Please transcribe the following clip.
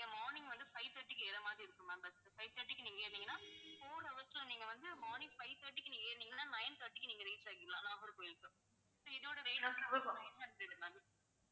morning வந்து five thirty க்கு ஏறுற மாதிரி இருக்கும் ma'am busfive thirty க்கு நீங்க ஏறுனீங்கன்னா four hours ல நீங்க வந்து morning five thirty க்கு நீங்க ஏறுனீங்கன்னா nine thirty க்கு நீங்க reach ஆயிடலாம் நாகர்கோயிலுக்கு so இதோட rate nine hundred ma'am